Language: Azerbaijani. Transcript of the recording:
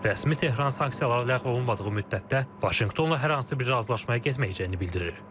Rəsmi Tehran sanksiyalar ləğv olunmadığı müddətdə Vaşinqtonla hər hansı bir razılaşmaya getməyəcəyini bildirir.